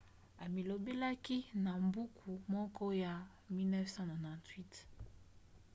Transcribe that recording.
amilobelaki na buku moko ya 1998